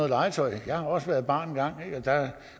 legetøj jeg har også været barn engang ikke der